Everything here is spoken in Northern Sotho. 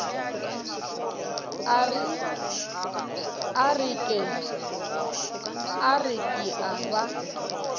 a re ke a ba